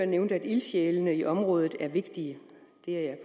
nævnte at ildsjælene i området er vigtige det er jeg